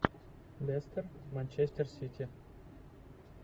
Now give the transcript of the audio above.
лестер манчестер сити